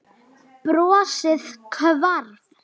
Hún seig nokkuð í.